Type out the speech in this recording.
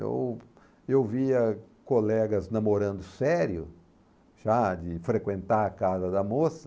Eu eu via colegas namorando sério, já de frequentar a casa da moça,